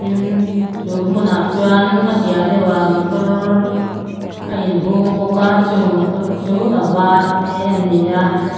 tin chu hmunah chuan a piah deuhah motor a inhung bawka chung motor chu a var te ani a.